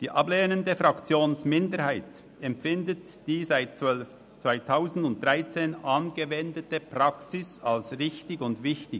Die ablehnende Fraktionsminderheit empfindet die seit 2013 angewendete Praxis als richtig und wichtig.